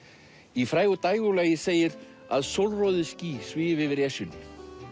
í frægu dægurlagi segir að ský svífi yfir Esjunni